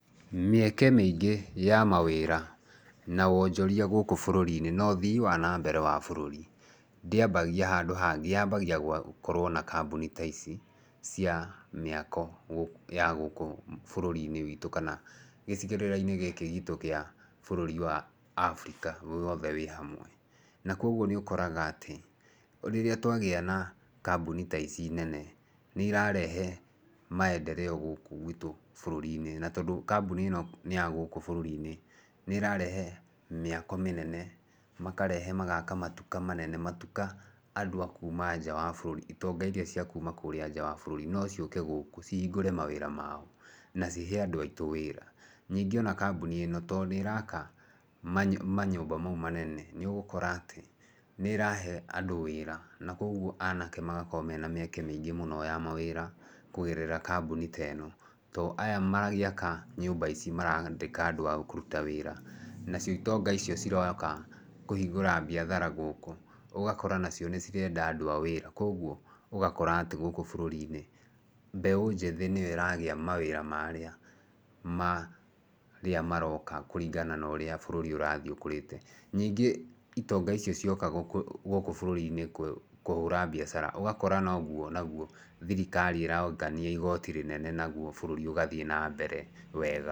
Mĩeke mĩingĩ ya mawĩra na wonjoria gũkũ bũrũri-inĩ na ũthii wa na mbere wa bũrũri, ndĩambagia handũ hangĩ yambagia na gũkorowo na kambuni ta ici cia mĩako ya gũkũ bũrũri-inĩ witũ, kana gĩcigerera-inĩ gĩkĩ gitũ kia bũrũri wa Abirika wothe wĩ hamwe. Na koguo nĩ ũkoraga atĩ, rĩrĩa twagĩa na kambuni ta ici nene, nĩ irarehe maendereo gũkũ gwitu bũrũri-inĩ. Na tondũ kambuni ĩno nĩ ya gũkũ bũrũri-inĩ, nĩ ĩrarehe mĩako mĩnene, makarehe magaka matuka manene, matuka andũ a kuma nja wa bũruri, itonga iria cia kuuma kũrĩa nja wa bũrũri no ciũke gũkũ cihingũre mawira mao na cihe andũ aitũ wĩra. Ningĩ ona kambuni ĩno tondũ nĩ ĩraka manyũmba mau manene, nĩ ũgũkora atĩ nĩĩrahe andũ wĩra na koguo anake magakorwo mena mĩeke mĩingĩ mũno ya mawĩra kũgerera kambuni ta ĩno. Tondũ aya magĩaka nyũmba ici maraandĩka andũ a kũruta wĩra nacio itonga icio ciroka kũhingũra biathara gũkũ ũgakora nacio nĩcirenda andũ a wĩra. Koguo ũgakora atĩ gũkũ bũrũri-inĩ, mbeũ njĩthĩ nĩyo ĩragĩa mawĩra marĩa, marĩa maroka kũringana na ũria bũrũri ũrathiĩ ũkũrĩte. Nĩngĩ itonga icio cioka gũkũ bũruri-inĩ kũhũra biacara, ũgakora noguo naguo thirikari ĩrongania igoti rĩnene, naguo bũrũri ũgathiĩ na mbere wega.